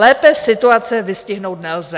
Lépe situace vystihnout nelze.